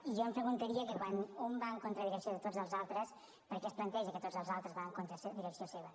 i jo em preguntaria que quan un va en contra direcció de tots els altres per què es planteja que tots els altres van en contra direcció seva